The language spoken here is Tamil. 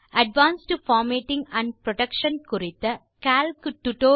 அட்வான்ஸ்ட் பார்மேட்டிங் ஆண்ட் புரொடெக்ஷன் குறித்த லிப்ரியாஃபிஸ் கால்க்